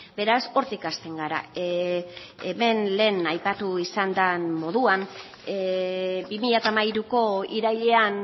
beraz hortik hasten gara hemen lehen aipatu izan den moduan bi mila hamairuko irailean